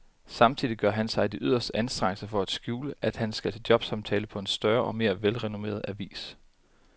Samtidig gør han sig de yderste anstrengelser for at skjule, at han skal til jobsamtale på en større og mere velrenommeret avis.